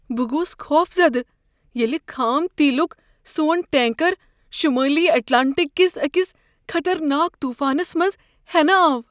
بہٕ گوس خوفزدہ ییٚلہ خام تیلک سون ٹینکر شمٲلی اٹلانٹک کس أکس خطرناک طوفانس منٛز ہینہٕ آو۔